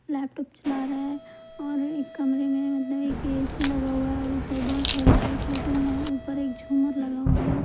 Laptop चला रहा है और एक कमरे में मतलब एक ए_सी लगा हुआ है और ऊपर बहुत सारी लाइट लगे हुए हैं ऊपर एक झूमर लगा हुआ है।